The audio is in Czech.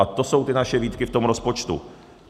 A to jsou ty naše výtky v tom rozpočtu.